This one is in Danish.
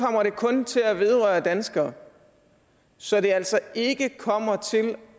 kun til at vedrøre danskere så det altså ikke kommer til